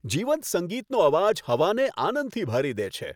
જીવંત સંગીતનો અવાજ હવાને આનંદથી ભરી દે છે.